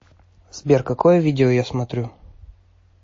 сбер какое видео я смотрю